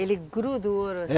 Ele gruda o ouro